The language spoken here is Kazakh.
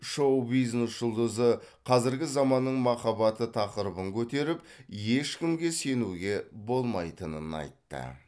шоу бизнес жұлдызы қазіргі заманның махаббаты тақырыбын көтеріп ешкімге сенуге болмайтынын айтты